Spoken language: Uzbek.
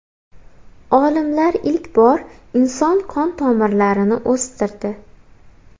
Olimlar ilk bor inson qon tomirlarini o‘stirdi.